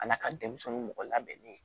A n'a ka denmisɛnninw mɔgɔ labɛnnen